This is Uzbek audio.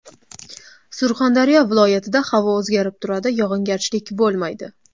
Surxondaryo viloyatida havo o‘zgarib turadi, yog‘ingarchilik bo‘lmaydi.